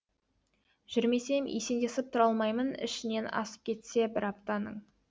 жүрмесем есендесіп тұра алмаймын ішінен асып кетсе бір аптаның